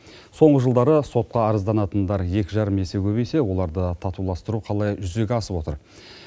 соңғы жылдары сотқа арызданатындар екі жарым есе көбейсе оларды татуластыру қалай жүзеге асып отыр